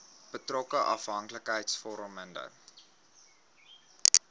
betrokke afhanklikheids vormende